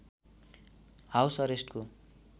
house एरेस्टको